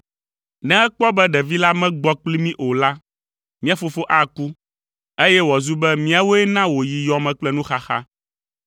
ne ekpɔ be ɖevi la megbɔ kpli mí o la, mía fofo aku, eye wòazu be míawoe na wòyi yɔ me kple nuxaxa.